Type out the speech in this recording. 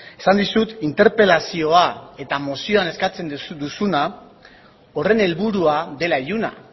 esan dizut interpelazioa eta mozioan eskatzen duzuna horren helburua dela iluna